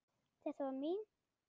Þetta var mín.